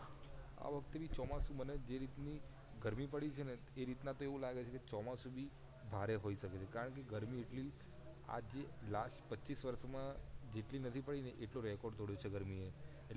આવખતે ચોમાસુ જે રીતની ગરમી પડી છે એ રીતના એવું લાગે છે ચોમાસુ બી ભારે હોય શકે છે કારણકે ગરમી એટલી આજે last પચીસ વર્ષ માં એટલી નથી પડી ને એટલે record તોડીયો છે ગરમી એ